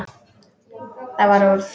Það varð úr.